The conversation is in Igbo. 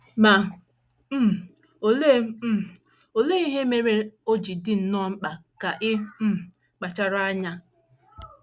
Ma, um olee um olee ihe mere o ji dị nnọọ mkpa ka ị um kpachara anya?